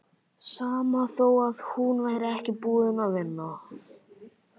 Sama þó að hún væri ekki búin að vinna.